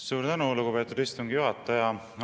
Suur tänu, lugupeetud istungi juhataja!